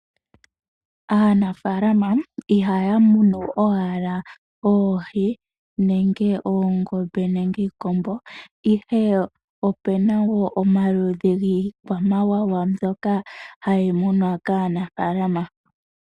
Aanafaalama ihaya munu owala oohi nenge oongombe nenge iikombo ihe epe na wo omaludhi giikwamawawa mbyoka hayi munwa kanafaalama.